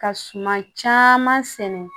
Ka suma caman sɛnɛ